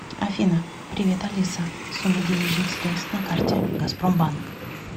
афина привет алиса сумма денежных средств на карте газпромбанк